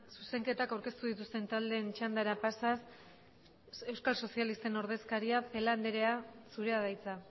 zuzenketak aurkeztu dituzten taldeen txandara pasaz euskal sozialisten ordezkaria celaá andrea zurea da hitza